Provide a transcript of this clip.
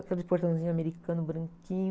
Aquela de portãozinho americano, branquinho.